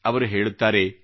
ಅವರು ಹೇಳುತ್ತಾರೆ